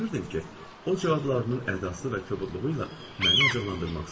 Və görürdüm ki, o cavablarının ədası və kobudluğu ilə məni acıqlandırmaq istəyir.